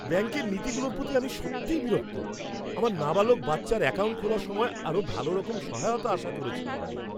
ব্যাঙ্কের নীতিগুলোর প্রতি আমি সত্যিই বিরক্ত! আমার নাবালক বাচ্চার অ্যাকাউন্ট খোলার সময় আরও ভালোরকম সহায়তা আশা করেছিলাম আমি।